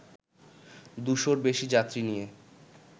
দুশোর বেশি যাত্রী নিয়ে